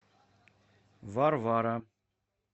варвара